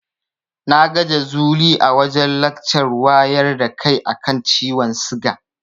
Na ga Jazuli a wajen lakcar wayar da kai a kan ciwon siga.